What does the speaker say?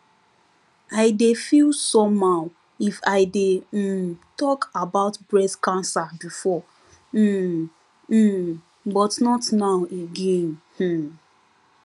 i dey feel somehow if i dey um talk about breast cancer before um um but not now again um